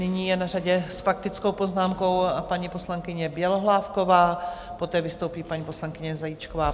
Nyní je na řadě s faktickou poznámkou paní poslankyně Bělohlávková, poté vystoupí paní poslankyně Zajíčková.